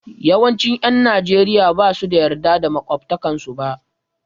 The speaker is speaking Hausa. Yawancin 'yan Najeriya ba su yarda da makwabtansu ba.